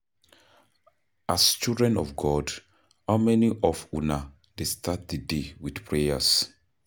As children of God, how many of una dey start the day with prayers?